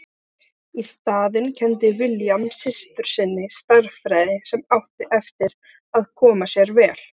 Í staðinn kenndi William systur sinni stærðfræði sem átti eftir að koma sér vel.